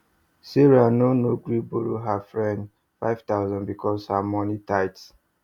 sarah no no gree borrow her friend 5000 because her money tight